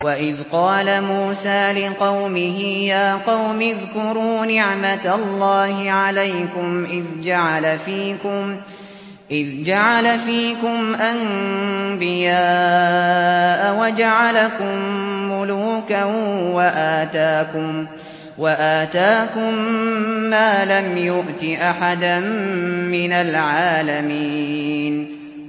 وَإِذْ قَالَ مُوسَىٰ لِقَوْمِهِ يَا قَوْمِ اذْكُرُوا نِعْمَةَ اللَّهِ عَلَيْكُمْ إِذْ جَعَلَ فِيكُمْ أَنبِيَاءَ وَجَعَلَكُم مُّلُوكًا وَآتَاكُم مَّا لَمْ يُؤْتِ أَحَدًا مِّنَ الْعَالَمِينَ